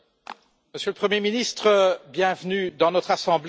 Monsieur le Premier ministre, bienvenue dans notre Assemblée.